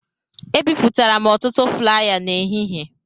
Ebipụtara m ọtụtụ flaya n'ehihie